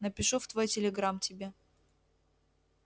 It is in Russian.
напишу в твой телеграмм тебе